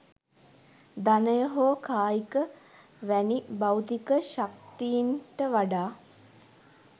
ධනය හෝ කායික වැනි භෞතික ශක්තීන්ට වඩා